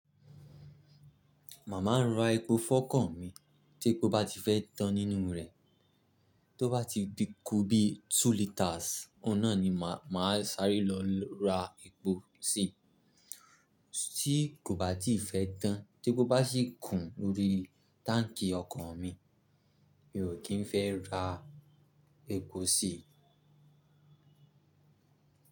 Màmá ń ra epo fọ ọkọ̀ mi tí epo bá ti fẹ́ tán nínú rẹ̀. Tó bá ti be kú bí two litres, ọ̀un na ni mà á sáré lọ ra epo sí i. Tí kò bá ti fẹ́ tán, tí epo bá sì kún lórí táǹkì ọkọ̀ mi, mi ò kí ń fẹ́ ra epo sí i.